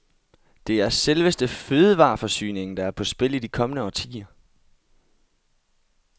Det er selveste fødevareforsyningen, der er på spil i de kommende årtier.